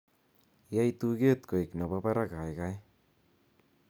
yai tuget koik nepo barak gaigai